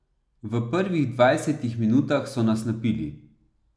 V prvih dvajsetih minutah so nas napili.